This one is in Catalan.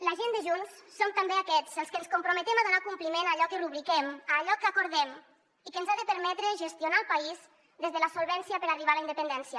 la gent de junts som també aquests els que ens comprometem a donar compliment a allò que rubriquem a allò que acordem i que ens ha de permetre gestionar el país des de la solvència per arribar a la independència